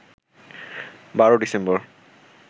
১২ December